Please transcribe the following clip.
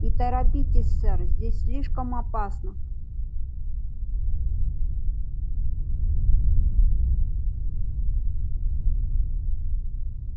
и торопитесь сэр здесь слишком опасно